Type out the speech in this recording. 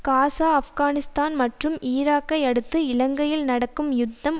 Gaza Afghanistan மற்றும் ஈராக்கை அடுத்து இலங்கையில் நடக்கும் யுத்தம்